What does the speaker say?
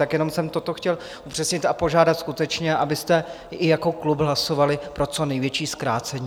Tak jenom jsem toto chtěl upřesnit a požádat skutečně, abyste i jako klub hlasovali pro co největší zkrácení.